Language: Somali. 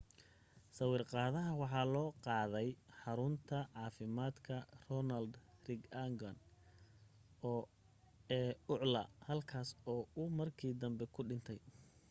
sawir qaadaha waxaa loo qaaday xarunta caaafimaadka ronald reagan ee ucla halkaas oo uu markii dambe ku dhintay